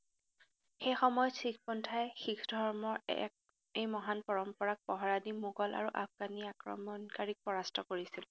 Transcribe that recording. সেইসময়ত শিখ পন্থাই শিখ ধৰ্মৰ এক এই মহান পৰম্পৰাক পহৰাদি মোগল আৰু আফগানী আক্ৰমণকাৰীক পৰাস্ত কৰিছিল।